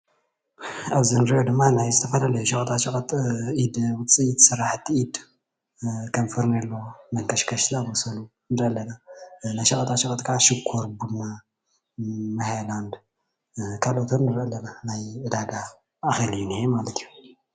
ኣብዚ እንሪኦ ድማ ናይ ዝተፈላለዩ ሸቀጣ ሸቀጥ ኢድ ውፂኢት ስራሕቲ ኢድ ከም ፌርኔሎ፣ መንከሽከሽ ዝኣምሳሰሉ ንሪኢ ኣለና፣ ሸቀጣ ሸቀጥ ክዓ ሽኮር፣ ቡና፣ ማይ ሃይላንድ ካልኦትን ንሪኢ ኣለና፣ ናይ ዕዳጋ ማዕከል እዩ እኒሀ ማለት እዩ፡፡